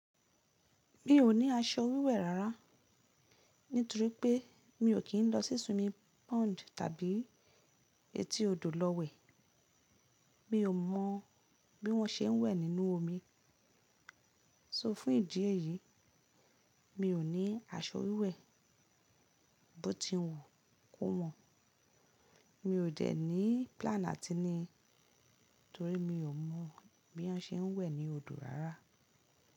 Mi ò ní aṣọ wíwẹ̀ rárá, nítorí pé mi ò kí ń lọ sí swimming pond tàbí etí odò lọ wẹ̀. Mi ò mọ̀ bí wọ́n ṣe ń wẹ̀ nínú omi. So fún ìdí èyí, mi ò ní aṣọ wíwẹ̀. Bó ti wù kó mọ̀. Mi ò dẹ̀ ní plan àti ní, torí mi ò mọ̀ bí wọ́n ṣe ń wẹ̀ ní odò rárá.